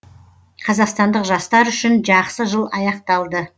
қазақстандық жастар үшін жақсы жыл аяқталды